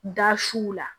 Da suw la